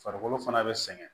Farikolo fana be sɛgɛn